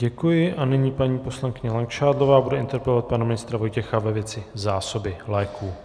Děkuji a nyní paní poslankyně Langšádlová bude interpelovat pana ministra Vojtěcha ve věci zásoby léků.